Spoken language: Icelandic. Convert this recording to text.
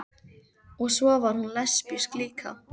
Og svo var hún lesbísk líka.